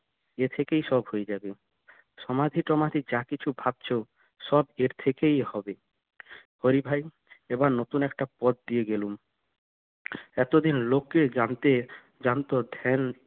এ থেকেই সব হয়ে যাবে সমাধি সমাধি যা কিছু ভাবছো সব এর থেকেই হবে হরি ভাই এবার নতুন একটা পথ দিয়ে গেলুম এতদিন লোকে জানতে জানতো ধ্যান